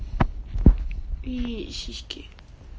и сиськи